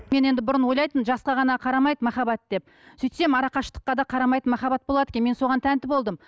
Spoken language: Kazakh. мен енді бұрын ойлайтынмын жасқа ғана қарамайды махаббат деп сөйтсем арақашықтыққа да қарамайтын махаббат болады екен мен соған тәнті болдым